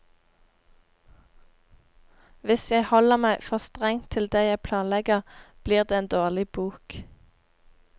Hvis jeg holder meg for strengt til det jeg planlegger, blir det en dårlig bok.